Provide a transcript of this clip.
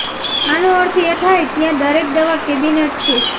આનો અર્થ એ થાય ત્યાં દરેક દવા કેબિનેટ છે